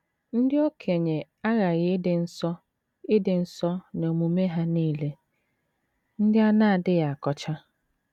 Ndị okenye aghaghị ịdị nsọ ịdị nsọ n’omume ha nile, ndị a na - adịghị akọcha.